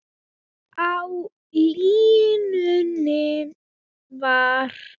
Á línunni var